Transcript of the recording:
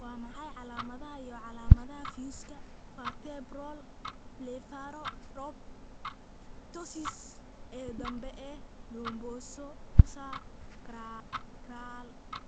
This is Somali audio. Waa maxay calaamadaha iyo calaamadaha fiyuuska vertebral blepharoptosis ee dambe ee lumbosacral?